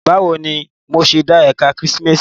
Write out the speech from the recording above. Bawo ni mo ṣe de Ẹka Kemistri?